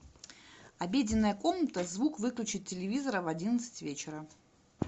обеденная комната звук выключить телевизора в одиннадцать вечера